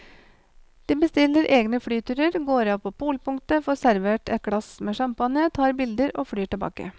De bestiller egne flyturer, går av på polpunktet, får servert et glass med champagne, tar bilder og flyr tilbake.